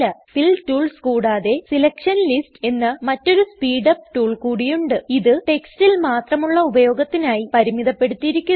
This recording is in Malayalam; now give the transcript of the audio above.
ഫിൽ ടൂൾസ് കൂടാതെ സെലക്ഷൻ ലിസ്റ്റ്സ് എന്ന മറ്റൊരു സ്പീഡ് അപ് ടൂൾ കൂടിയുണ്ട് ഇത് ടെക്സ്റ്റിൽ മാത്രമുള്ള ഉപയോഗത്തിനായി പരിമിതപ്പെടുത്തിയിരിക്കുന്നു